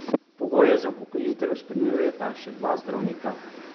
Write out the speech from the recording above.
Pogoje za upokojitev izpolnjujeta še dva zdravnika.